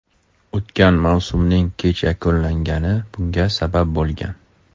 O‘tgan mavsumning kech yakunlangani bunga sabab bo‘lgan.